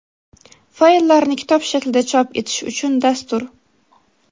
Fayllarni kitob shaklida chop etish uchun dastur.